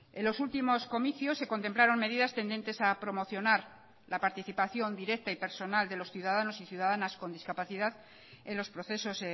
en los últimos comicios se contemplaron medidas tendentes a promocionar la participación directa y personal de los ciudadanos y ciudadanas con discapacidad en los procesos